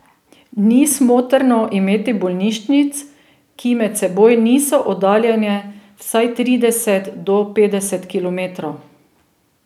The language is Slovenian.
Ni smotrno imeti bolnišnic, ki med seboj niso oddaljene vsaj trideset do petdeset kilometrov.